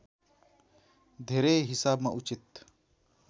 धेरै हिसाबमा उचित